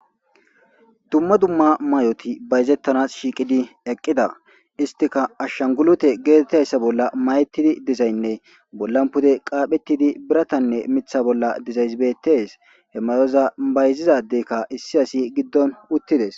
dumma dumma may7oti bayzettanas shiiqidi eqqida istika ashshangulute geetettayssa bolla mayetidi dizaynne bollan pude qaaphettidi biratanne mitha bolla dizaysbetes he mayoza bayzizadeykka issi asi giddon uttides